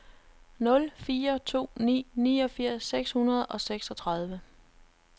nul fire to ni niogfirs seks hundrede og seksogtredive